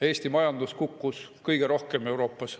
Eesti majandus kukkus kõige rohkem Euroopas.